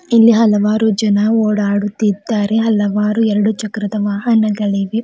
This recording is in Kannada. ಇಲ್ಲಿ ಹಲವಾರು ಜನ ಓಡಾಡುತ್ತಿದ್ದಾರೆ ಹಲವಾರು ಎರಡು ಚಕ್ರದ ವಾಹನಗಳು ಇವೆ.